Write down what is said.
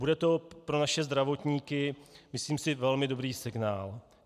Bude to pro naše zdravotníky, myslím si, velmi dobrý signál.